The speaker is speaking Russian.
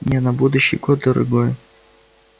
не на будущий год дорогой